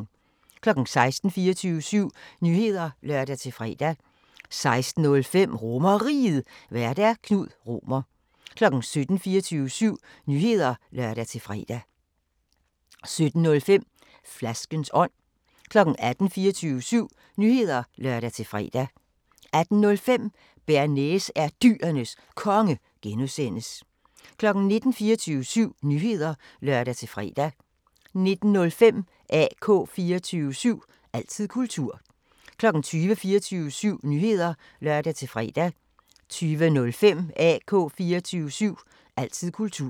16:00: 24syv Nyheder (lør-fre) 16:05: RomerRiget, Vært: Knud Romer 17:00: 24syv Nyheder (lør-fre) 17:05: Flaskens ånd 18:00: 24syv Nyheder (lør-fre) 18:05: Bearnaise er Dyrenes Konge (G) 19:00: 24syv Nyheder (lør-fre) 19:05: AK 24syv – altid kultur 20:00: 24syv Nyheder (lør-fre) 20:05: AK 24syv – altid kultur